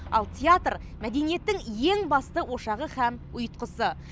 ал театр мәдениеттің ең басты ошағы һәм ұйытқысы